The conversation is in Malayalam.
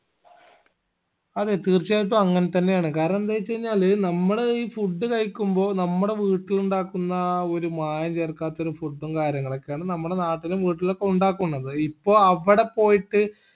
അതെ തീർച്ചയായിട്ടും അങ്ങനെ തന്നെ ആണ് കാരണെന്തെച്ചു കഴിഞ്ഞാല് നമ്മള് ഈ food കായിക്കുമ്പൊ നമ്മടെ വീട്ടിലുണ്ടാക്കുന്ന ആ ഒരു മായം ചേർക്കാത്തൊരു food ഉം കാര്യങ്ങളൊക്കെ ആണ് നമ്മളെ നാട്ടിലും വീട്ടിലും ഒക്കെ ഉണ്ടാക്കുന്നത് അപ്പൊ അവടെ പോയിട്ട്